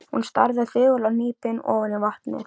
Hún starði þögul og hnípin ofan í vatnið.